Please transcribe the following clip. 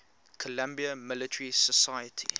columbia military society